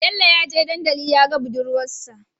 Bello yaje dandali yaga budurwar sa